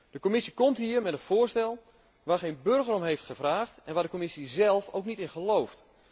De Commissie komt hier met een voorstel waar geen burger om heeft gevraagd en waar de Commissie zelf ook niet in gelooft.